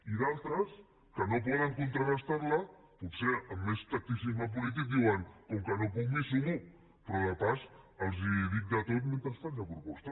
i d’altres que no poden contrarestar la potser amb més tacticisme polític diuen com que no puc m’hi sumo però de pas els dic de tot mentre faig la proposta